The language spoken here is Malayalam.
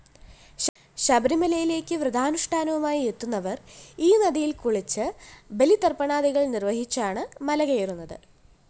ശബരിമലയിലേയ്ക്ക് വ്രതാനുഷ്ഠാനവുമായി എത്തുന്നവര്‍ ഈനദിയില്‍ കുളിച്ച് ബലിതര്‍പ്പണാദികള്‍ നിര്‍വ്വഹിച്ചാണ് മലകയറുന്നത്